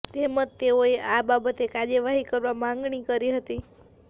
તેમજ તેઓએ આ બાબતે કાર્યવાહી કરવા માગણી કરી હતી